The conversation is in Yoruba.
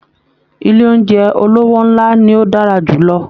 Ilé oúnjẹ olówó ńlá ni ó dára jù lọ